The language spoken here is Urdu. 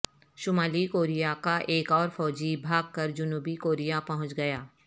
شمالی کوریا کا ایک اور فوجی بھاگ کر جنوبی کوریا پہنچ گیا